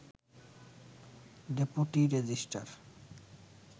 deputy registrar